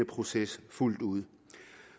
proces fuldt ud